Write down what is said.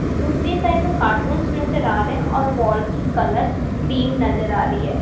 दूसरी साइड में कार्टून्स नजर आ रहे हैं और वॉल की कलर क्रीम नजर आ रही है।